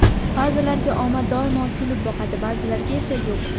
Ba’zilarga omad doimo kulib boqadi, ba’zilarga esa yo‘q?